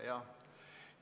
Jah.